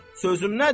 Sözün nədir?